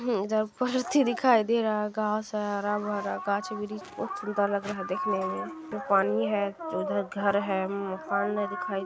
हीं इधर परती दिखाई दे रहा घास है हरा-भरा गाछ-वृक्ष बहुत सुंदर लग रहा देखने में पानी है उधर घर है मकान है दिखाई --